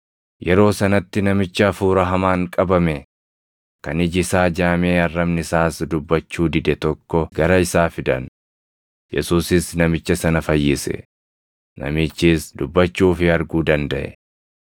Yeroo sanatti namicha hafuura hamaan qabame, kan iji isaa jaamee arrabni isaas dubbachuu dide tokko gara isaa fidan; Yesuusis namicha sana fayyise; namichis dubbachuu fi arguu dandaʼe.